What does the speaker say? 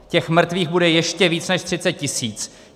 Těch mrtvých bude ještě víc než 30 tisíc.